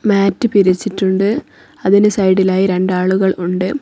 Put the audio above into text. മാറ്റ് വിരിച്ചിട്ടുണ്ട് അതിന് സൈഡിലായി രണ്ട് ആളുകൾ ഉണ്ട്.